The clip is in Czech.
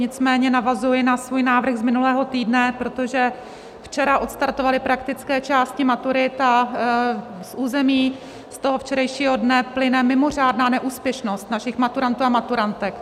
Nicméně navazuji na svůj návrh z minulého týdne, protože včera odstartovaly praktické části maturit a z území toho včerejšího dne plyne mimořádná neúspěšnost našich maturantů a maturantek.